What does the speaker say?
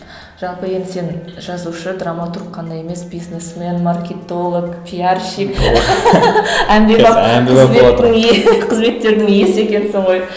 ы жалпы енді сен жазушы драматург қана емес бизнесмен маркетолог пиарщик әмбебап қызметтің қызметтердің иесі екенсің ғой